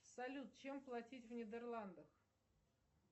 салют чем платить в нидерландах